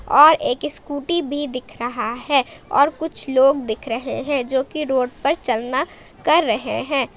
और एक स्कूटी भी दिख रहा है और कुछ लोग दिख रहे हैं जो की रोड पर चलना कर रहे हैं।